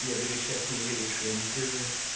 я даже сейчас не уверен что я не пизжу